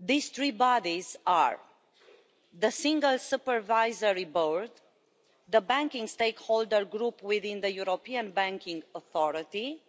These three bodies are the Single Supervisory Board, the Banking Stakeholder Group within the European Banking Authority,